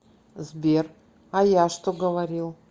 сбер а я что говорил